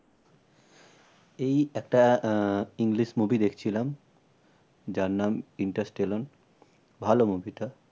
এই একটা আহ english movie দেখছিলাম। যার নাম ইনস্টারটেলন ভালো movie টা